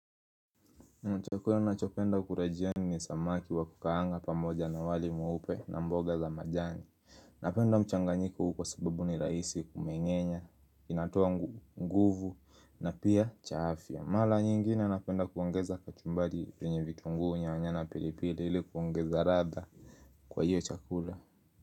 Chakula nachopenda kura jioni ni samaki wa kukaanga pamoja na wali mweupe na mboga za majani Napenda mchanganyiko huu kwa sababu ni rahisi kumengenya, inatoa nguvu na pia cha afya Mala nyingine napenda kuongeza kachumbari kwenye vitunguu nyanya na pilipili ili kuongeza radha kwa hiyo chakula.